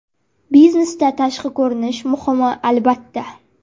Biznesda tashqi ko‘rinish muhimmi – albatta!